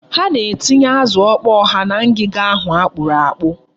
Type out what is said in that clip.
Ha na-etinye azụ ọkpọọ ha na ngiga ahụ akpụrụ akpụ.